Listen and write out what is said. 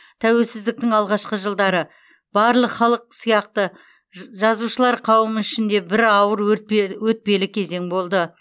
тәуелсіздіктің алғашқы жылдары барлық халық сияқты жазушылар қауымы үшін де бір ауыр өтпелі кезең болды